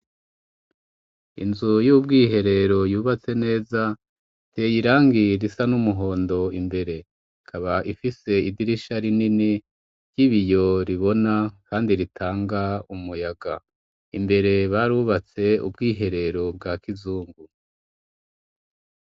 Inzu y'ubwiherero yubatse neza iteye irangi risa n'umuhondo. Imbere ikaba ifise idirisha rinini ry'ibiyo ribona kandi ritanga umuyaga. Imbere barubatse ubwiherero bwa kizungu.